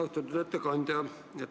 Austatud ettekandja!